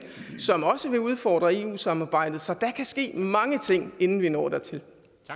som også vil udfordre eu samarbejdet så der kan ske mange ting inden vi når dertil